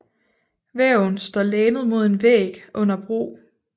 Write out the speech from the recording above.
Væven står lænet mod en væg under brug